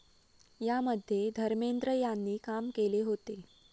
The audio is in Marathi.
यामध्ये धर्मेंद्र यांनी काम केले होते.